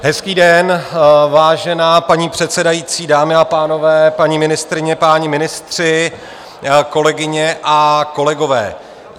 Hezký den, vážená paní předsedající, dámy a pánové, paní ministryně, páni ministři, kolegyně a kolegové.